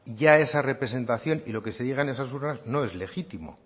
ya es representación y lo que se llega a esas urnas no es legítimo